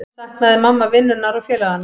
Saknaði mamma vinnunnar og félaganna?